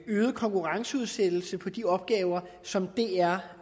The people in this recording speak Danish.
øget konkurrenceudsættelse på de opgaver som dr